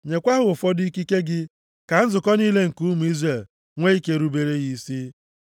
Nyekwa ha ụfọdụ ikike + 27:20 Maọbụ, ebube nke ya na ikike so gị, ka nzukọ niile nke ụmụ Izrel nwee ike rubere ya isi.